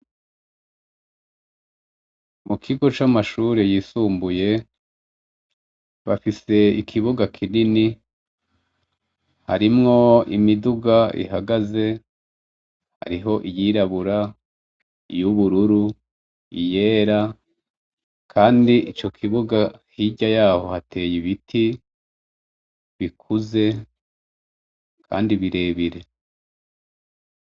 Mu kigo c'amashure yisumbuye, bafise ikibuga kinini harimwo imiduga ihagaze, hariho yirabura, iy'ubururu, iyera, kandi ico kibuga hirya yaho hateye ibiti bikuze kandi birebire.